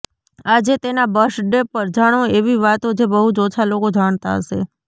આજે તેના બર્થડે પર જાણો એવી વાતો જે બહુ જ ઓછા લોકો જાણતા હશે